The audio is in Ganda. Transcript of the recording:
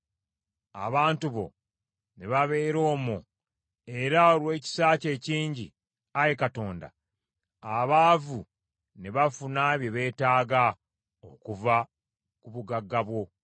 abantu bo ne babeera omwo; era olw’ekisa kyo ekingi, Ayi Katonda, abaavu ne bafuna bye beetaaga okuva ku bugagga bwo.